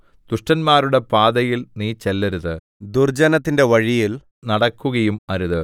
ദുഷ്ടന്മാരുടെ പാതയിൽ നീ ചെല്ലരുത് ദുർജ്ജനത്തിന്റെ വഴിയിൽ നടക്കുകയും അരുത്